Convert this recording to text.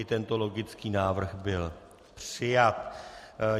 I tento logicky návrh byl přijat.